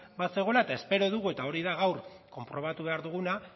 bazegoela eta espero dugu eta hori da gaur konprobatu behar duguna